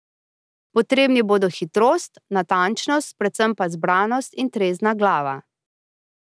Potrebni bodo hitrost, natančnost, predvsem pa zbranost in trezna glava.